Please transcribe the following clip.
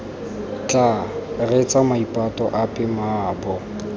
tla reetsa maipato ape mmaabo